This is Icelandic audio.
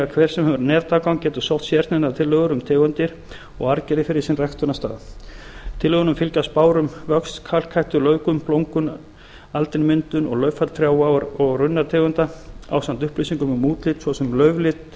hver sem hefur netaðgang getur sótt sérsniðnar tillögur um tegundir og arfgerðir fyrir sinn ræktunarstað tillögunum fylgja spár um vöxt kalhættu laufgun blómgun aldinmyndun og lauffall trjá og runnategunda ásamt upplýsingum um útlit svo sem lauflit